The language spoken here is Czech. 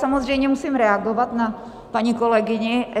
Samozřejmě musím reagovat na paní kolegyni.